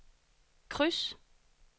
kryds